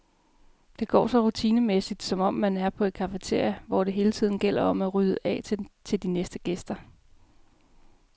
Det går så rutinemæssigt, som om man er på et cafeteria, hvor det hele tiden gælder om at rydde af til de næste gæster.